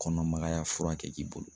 Kɔnɔmagaya fura kɛ k'i bolo